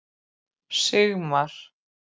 Sigmar